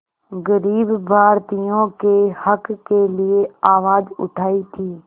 ग़रीब भारतीयों के हक़ के लिए आवाज़ उठाई थी